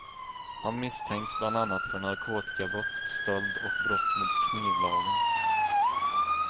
Han misstänks bland annat för narkotikabrott, stöld och brott mot knivlagen.